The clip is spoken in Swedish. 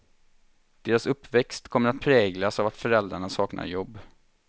Deras uppväxt kommer att präglas av att föräldrarna saknar jobb.